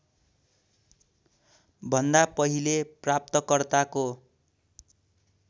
भन्दा पहिले प्राप्तकर्ताको